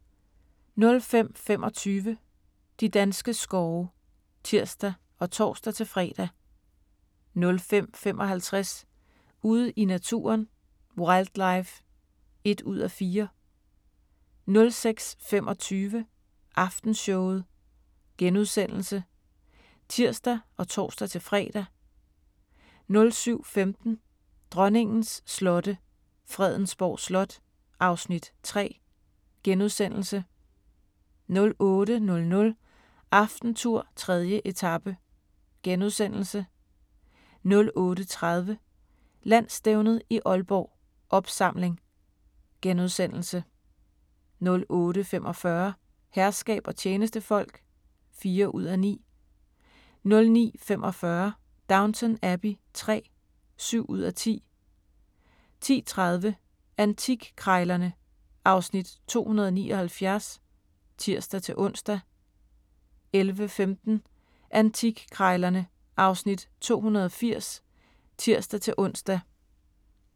05:25: De danske skove (tir og tor-fre) 05:55: Ude i naturen: Wildlife (1:4) 06:25: Aftenshowet *(tir og tor-fre) 07:15: Dronningens slotte – Fredensborg Slot (Afs. 3)* 08:00: AftenTour: 3. etape * 08:30: Landsstævnet i Aalborg: Opsamling * 08:45: Herskab og tjenestefolk (4:9) 09:45: Downton Abbey III (7:10)* 10:30: Antikkrejlerne (Afs. 279)(tir-ons) 11:15: Antikkrejlerne (Afs. 280)(tir-ons)